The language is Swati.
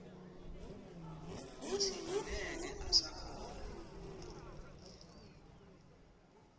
kutsi angeke usakhona